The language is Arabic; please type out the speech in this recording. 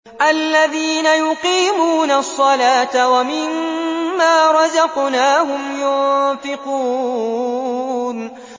الَّذِينَ يُقِيمُونَ الصَّلَاةَ وَمِمَّا رَزَقْنَاهُمْ يُنفِقُونَ